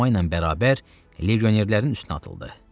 Enomay ilə bərabər legionerlərin üstünə atıldı.